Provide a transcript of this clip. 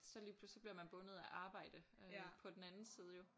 Så lige pludselig så bliver man bundet af arbejde øh på den anden side jo